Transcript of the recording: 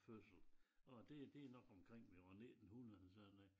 Fødsel og det det nok omkring ved år 19 hundrede eller sådan noget